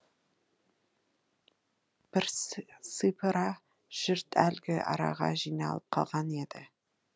бірсыпыра жұрт әлгі араға жиналып қалған еді